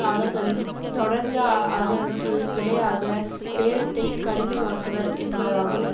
அவர்களின் தொடர்ந்த ஆதரவுக்கு விலையாக பேரத்தைக் கடினமாக்குவர் என்பதாகும்